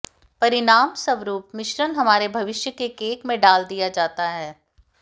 परिणामस्वरूप मिश्रण हमारे भविष्य के केक में डाल दिया जाता है